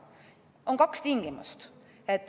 On kaks tingimust.